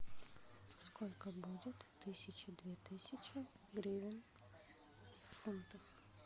сколько будет тысяча две тысячи гривен в фунтах